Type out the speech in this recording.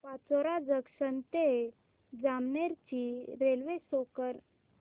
Pachora junction ते जामनेर ची railway show कर